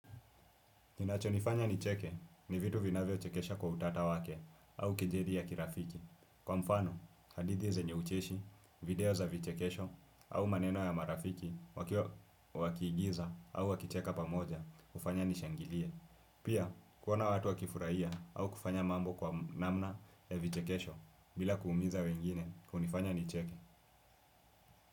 Kinachonifanya nicheke ni vitu vinavyochekesha kwa utata wake au kejeli ya kirafiki. Kwa mfano, hadithi zenye ucheshi, video za vichekesho au maneno ya marafiki wakiigiza au wakicheka pamoja, hufanya nishangilie. Pia, kuona watu wakifurahia au kufanya mambo kwa namna ya vichekesho bila kuumiza wengine kunifanya nicheke.